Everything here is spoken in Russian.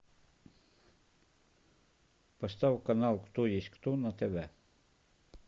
поставь канал кто есть кто на тв